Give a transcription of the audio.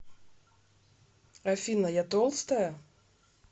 афина я толстая